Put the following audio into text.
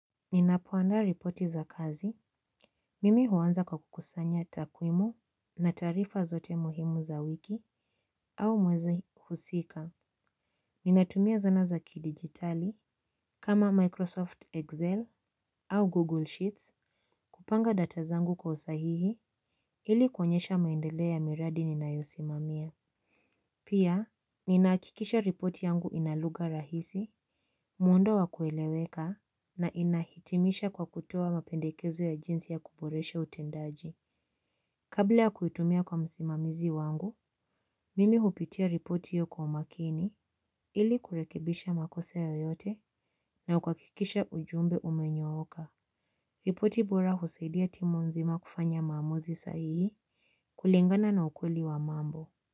Ninapoandaa ripoti za kazi, mimi huanza kwa kukusanya takwimu, na taarifa zote muhimu za wiki au mwezi husika. Ninatumia zana za kidijitali kama Microsoft Excel. Au Google Sheets. Kupanga data zangu kwa usahihi. Ili kuonyesha maendeleo ya miradi ninayosimamia. Pia ninahakikisha ripoti yangu ina lugha rahisi, muundo wa kueleweka na inahitimisha kwa kutoa mapendekezo ya jinsi ya kuboresha utendaji. Kabla ya kuitumia kwa msimamizi wangu, mimi hupitia ripoti hiyo kwa umakini ili kurekebisha makosa yoyote na kuhakikisha ujumbe umenyooka. Ripoti bora husaidia timu nzima kufanya maamuzi sahihi kulingana na ukweli wa mambo.